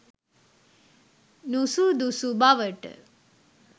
නුසුදුසු බවට